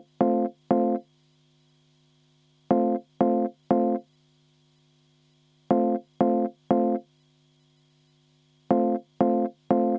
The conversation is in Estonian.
Enne hääletust vaheaega, palun!